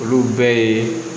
Olu bɛɛ ye